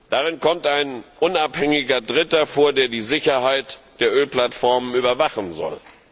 Darin kommt ein unabhängiger Dritter vor, der die Sicherheit der Ölplattformen überwachen soll.